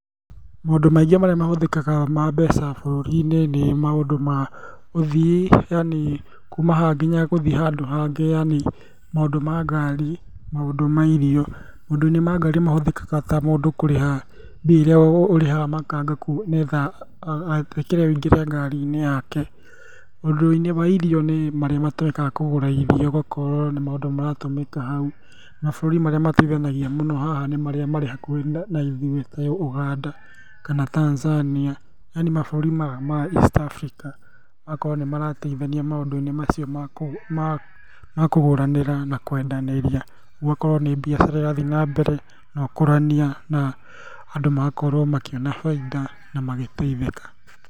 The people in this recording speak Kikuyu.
Maũndũ maingĩ marĩa mahũthĩkaga ma mbeca bũrũri-inĩ nĩ maũndũ ma ũthii, yani kuma haha nginya gũthiĩ handũ hangĩ yani maũndũ ma ngari, maũndũ ma irio. Maũndũ-inĩ ma ngari mahũthĩkaga ta mũndũ kũrĩha mbia iria ũrĩhaga makanga nĩ getha etĩkĩre ũingĩre ngari-inĩ yake. Maũndũ-inĩ ma irio nĩ marĩa matũmĩkaga kũgũra irio, ũgakorwo nĩ maũndũ maratũmĩka hau. Mabũrũri marĩa mateithanagia mũno haha nĩ marĩ hakuhĩ na ithuĩ ta Ũganda kana Tanzania, yani mabũrũri ma East Africa magakorwo nĩ marateithania maũndũ-inĩ macio ma kũgũranĩra na kwendanĩria. Gũgakorwo nĩ biacara irathiĩ na mbere, na ũkũrania, na andũ magakorwo makĩona baida na magĩteithĩka.